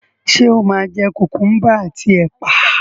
Ṣé o máa jẹ kùkúḿbà àti ẹ̀pà